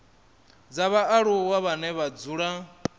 dza vhaaluwa vhane vha dzula